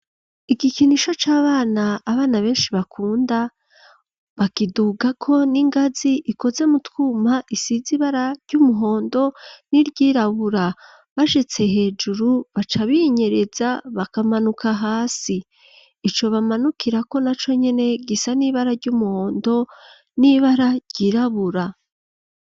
Igikinisho c'abana abana benshi bakunda .Bakiduga ko n'ingazi ikoze mu twuma isize ibara ry'umuhondo niry'irabura bashitse hejuru bacabinyereza bakamanuka hasi ico bamanukira ko na co nyine gisa n'ibara ry'umuhondo n'ibara ryirabura.